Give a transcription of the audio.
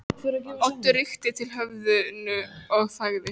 Oddur rykkti til höfðinu og þagði.